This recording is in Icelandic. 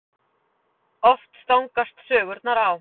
Oft stangast sögurnar á.